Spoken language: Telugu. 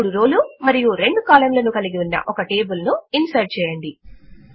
3 రో లు మరియు 2 కాలమ్ లను కలిగి ఉన్న ఒక టేబుల్ ను ఇన్సర్ట్ చేయండి